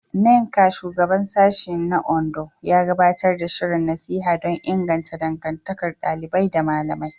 Nneka, Shugaban Sashen na Ondo, ya gabatar da shirin nasiha don inganta dangantakar ɗalibai da malamai.